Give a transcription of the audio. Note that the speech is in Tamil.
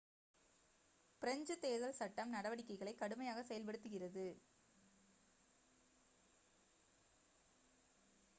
பிரெஞ்சு தேர்தல் சட்டம் நடவடிக்கைகளை கடுமையாக செயல்படுத்துகிறது